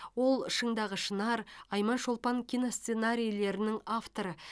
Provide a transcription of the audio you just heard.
ол шыңдағы шынар айман шолпан киносценарийлерінің авторы